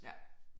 Ja